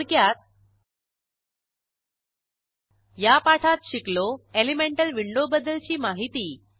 थोडक्यात या पाठात शिकलो एलिमेंटल विंडोबद्दलची माहिती